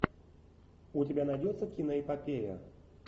у тебя найдется киноэпопея